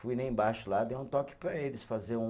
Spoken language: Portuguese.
Fui lá embaixo, lá, dei um toque para eles, fazer um